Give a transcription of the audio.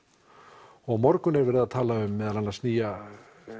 og á morgun er verið að tala um meðal annars nýja